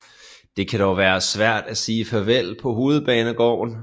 Det kan dog være svært at sige farvel på Hovedbanegården